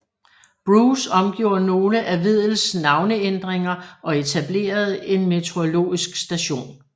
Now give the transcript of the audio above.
Bruce omgjorde nogle af Weddells navneændringer og etablerede en meteorologisk station